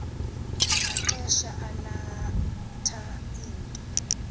maxesha alatha into